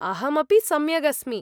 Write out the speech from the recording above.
अहमपि सम्यग् अस्मि।